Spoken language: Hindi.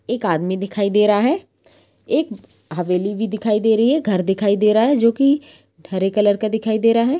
एक आदमी दिखाई दे रहा है एक हवेली भी दिखाई दे रही है घर दिखाई दे रह है जो कि हरे कलर का दिखाई दे रहा है।